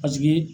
Paseke